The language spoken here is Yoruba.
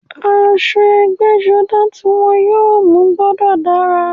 Aṣọ ẹgbẹ́-jọdá tí wọ́n yóò mú gbọ́dọ̀ dára.